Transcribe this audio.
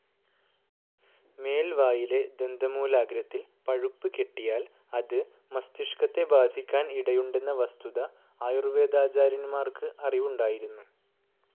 മേൽവായിലെ ദന്തമൂലാഗ്രത്തിൽ പഴുപ്പ് കെട്ടിയാൽ അത് മസ്തിഷ്കത്തെ ബാധിക്കാൻ ഇടയുണ്ടന്ന വസ്തുത ആയുർവേദാചാര്യന്മാർക്ക് അറിവുണ്ടായിരുന്നു.